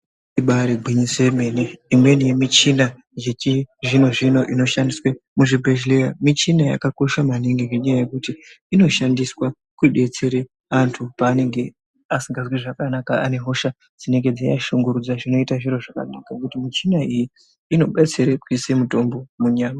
Ibaari gwinyiso yemene, imweni yemichina zvechizvino-zvino inoshandiswe muzvibhedhleya michina yakakosha maningi ngenyaya yekuti inoshandiswa kudetsere antu paanenge asingazwi zvakanaka ane hosha dzeiashungurudza, zvinoite zviro zvakanaka ngenyaya yekuti michina iyi inobetsere kuise mutombo munyama.